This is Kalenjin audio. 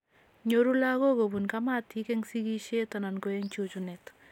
Nyoru lagok kobun kamatik en sigisiet anan ko en chuchunet